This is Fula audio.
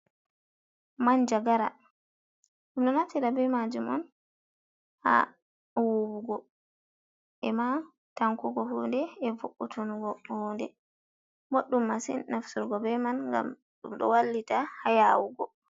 Manjagara, ɗum ɗo naftira bee maajum on haa wuuwugo e maa tankugo huunde e vo'utungo huunde. Boɗɗum masin nafturgo bee man ngam ɗum ɗo wallita haa yaawugo.